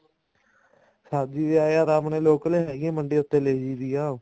ਸਬ੍ਜ਼ੀ ਤਾਂ ਯਾਰ ਆਪਣੇ local ਹੈਗੀ ਆ ਮੰਡੀ ਉੱਥੇ ਲੈ ਜਾਈਦੀ ਆ